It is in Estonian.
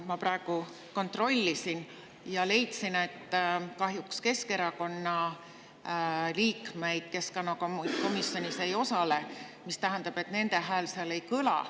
Ma kontrollisin selle üle ja kahjuks leidsin, et Keskerakonna fraktsiooni liikmed keskkonnakomisjonis ei osale, mis tähendab, et nende hääl seal ei kõla.